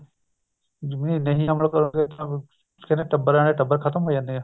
ਜਰੂਰੀ ਨੀ ਅਮ੍ਰਿਤ ਵਾਲਿਆਂ ਦੇ ਟੱਬਰਾਂ ਦੇ ਟੱਬਰ ਖਤਮ ਹੋ ਜਾਂਦੇ ਏ